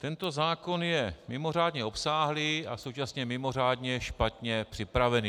Tento zákon je mimořádně obsáhlý a současně mimořádně špatně připravený.